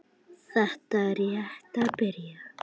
Þetta er rétt að byrja.